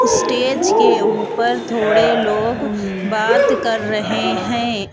Stage के ऊपर थोड़े लोग बात कर रहे हैं.